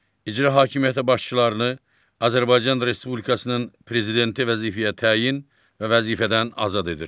İcra hakimiyyəti başçılarını Azərbaycan Respublikasının Prezidenti vəzifəyə təyin və vəzifədən azad edir.